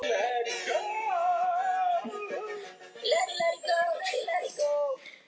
Hún flýtti sér í skóna sem stóðu við rúmstokkinn.